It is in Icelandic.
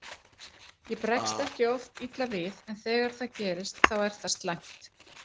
Ég bregst ekki oft illa við en þegar það gerist þá er það slæmt.